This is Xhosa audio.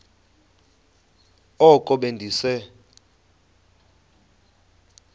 oko be ndise